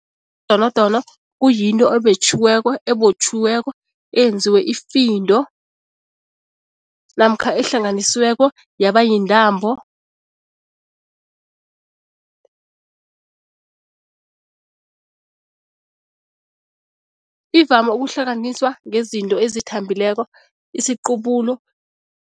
Idonodono kuyinto ebotjhiweko, eyenziwe ifindo namkha ehlanganisweko yaba yintambo ivame ukuhlunganiswa ngezinto ezithambileko, isiqubulu.